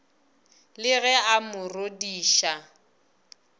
le ge a mo rodiša